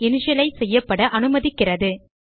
initialise செய்யப்பட அனுமதிக்கிறது